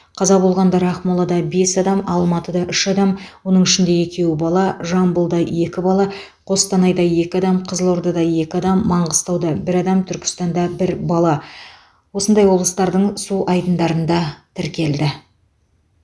қаза болғандар ақмолада бес адам алматыда үш адам оның ішінде екеуі бала жамбылда екі бала қостанайда екі адам қызылордада екі адам маңғыстауда бір бала түркістанда бір бала осындай облыстарының су айдындарында тіркелді